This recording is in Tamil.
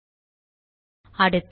அடுத்த ரோவ் வுக்கு போகலாம்